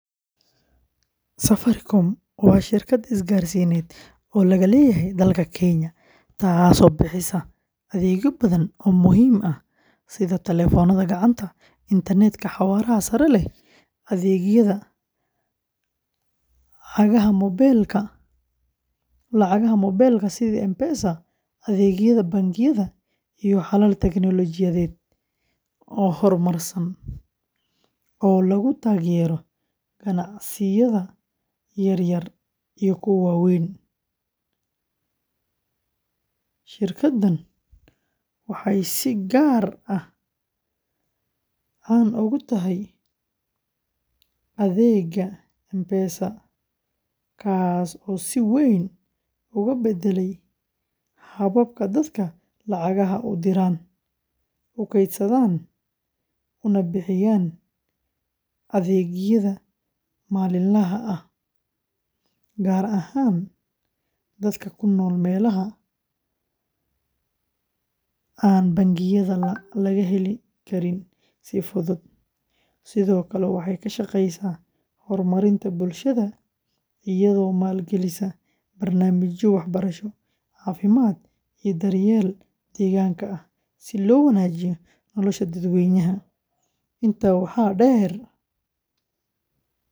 Safaricom waa shirkad isgaarsiineed oo laga leeyahay dalka Kenya, taas oo bixisa adeegyo badan oo muhiim ah sida taleefannada gacanta, internet-ka xawaaraha sare leh, adeegyada lacagaha moobilka sida M-Pesa, adeegyada bangiyada, iyo xalal teknoolojiyadeed oo horumarsan oo lagu taageerayo ganacsiyada yaryar iyo kuwa waaweyn. Shirkaddan waxay si gaar ah caan ugu tahay adeegga M-Pesa, kaas oo si weyn uga beddelay habka dadku lacagaha u diraan, u kaydsadaan, una bixiyaan adeegyada maalinlaha ah, gaar ahaan dadka ku nool meelaha aan bangiyada laga heli karin si fudud, sidoo kale waxay ka shaqaysaa horumarinta bulshada iyadoo maalgelisa barnaamijyo waxbarasho, caafimaad, iyo daryeelka deegaanka ah si loo wanaajiyo nolosha dadweynaha Kenya. Intaa waxaa dheer.